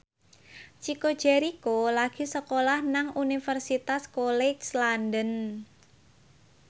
Chico Jericho lagi sekolah nang Universitas College London